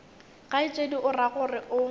kgaetšedi o ra gore o